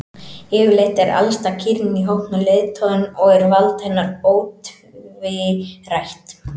Yfirleitt er elsta kýrin í hópnum leiðtoginn og er vald hennar ótvírætt.